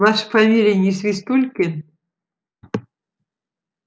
ваша фамилия не свистулькин